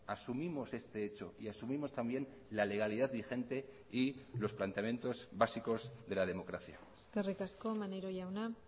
asumimos este hecho y asumimos también la legalidad vigente y los planteamientos básicos de la democracia eskerrik asko maneiro jauna